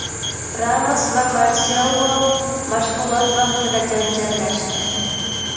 Ramos va Marselo mashg‘ulot vaqtida janjallashdi.